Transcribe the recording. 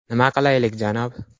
Nima qilaylik, janob?